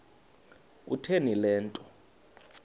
kutheni le nto